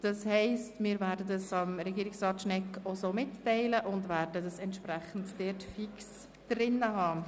Das heisst, wir werden die Änderung Regierungsrat Schnegg so mitteilen und das Geschäft fix im Zeitbudget einplanen.